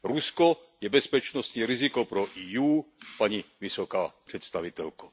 Rusko je bezpečnostní riziko pro EU, paní vysoká představitelko.